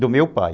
Do meu pai.